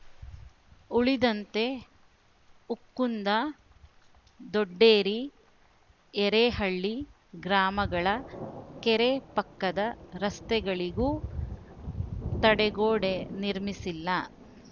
ಉಳಿದಂತೆ ಉಕ್ಕುಂದ ದೊಡ್ಡೇರಿ ಎರೇಹಳ್ಳಿ ಗ್ರಾಮಗಳ ಕೆರೆ ಪಕ್ಕದ ರಸ್ತೆಗಳಿಗೂ ತಡೆಗೋಡೆ ನಿರ್ಮಿಸಿಲ್ಲ